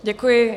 Děkuji.